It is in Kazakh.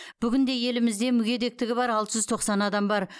бүгінде елімізде мүгедектігі бар алты жүз тоқсан адам бар